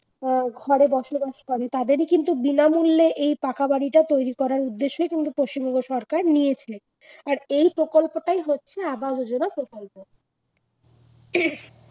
ঘর ঘরে বসবাস করে তাদেরই কিন্তু বিনামূল্যে এই পাকা বাড়িটা তৈরী করার উদ্দেশ্যই কিন্তু পশ্চিমবঙ্গ সরকার নিয়েছে, আর এই প্রকল্পটাই হচ্ছে আবাস যোজনা প্রকল্প